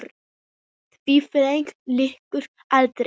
Því ferli lýkur aldrei.